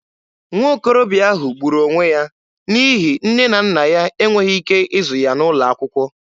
Nwokorobịa ahụ gburu onwe ya n'ihi nne na nna ya e nweghị ike ịzụ ya n'ụlọ akwụkwọ.